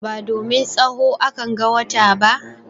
Ba domin tsaho a kan ga wata ba.